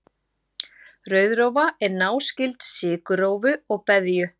rauðrófa er náskyld sykurrófu og beðju